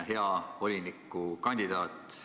Hea volinikukandidaat!